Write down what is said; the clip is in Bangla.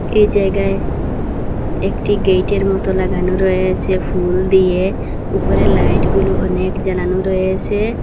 এই জায়গায় একটি গেট -এর মতো লাগানো রয়েছে ফুল দিয়ে উপরে লাইট গুলো অনেক জ্বালানো রয়েছে।